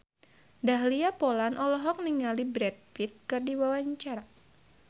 Dahlia Poland olohok ningali Brad Pitt keur diwawancara